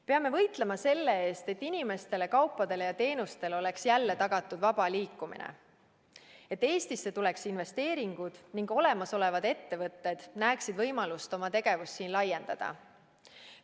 Peame võitlema selle eest, et inimestele, kaupadele ja teenustele oleks jälle tagatud vaba liikumine, et Eestisse tuleks investeeringud ning olemasolevad ettevõtted näeksid võimalust oma tegevust siin laiendada.